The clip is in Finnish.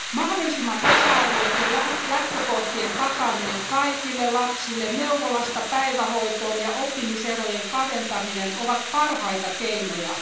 Mahdollisimman tasa arvoisten lähtökohtien takaaminen kaikille lapsille neuvolasta päivähoitoon ja oppimiserojen kaventaminen ovat parhaita keinoja.